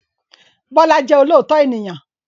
Bọ́lá jẹ́ olóòótọ́ ènìyàn.